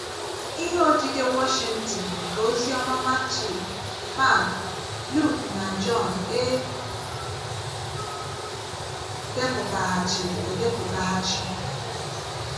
Ihe odide Wọshịntịn Nke Oziọma Matiu, Mak, Luk na Jọn e depụtaghachiri edepụtaghachi.